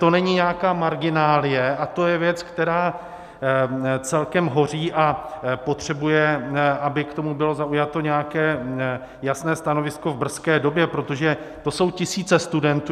To není nějaká marginálie a je to věc, která celkem hoří a potřebuje, aby k tomu bylo zaujato nějaké jasné stanovisko v brzké době, protože to jsou tisíce studentů.